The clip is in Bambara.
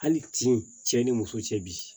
Hali tin cɛ ni muso cɛ bi